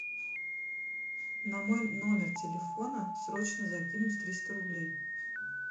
на мой номер телефона срочно закинуть триста рублей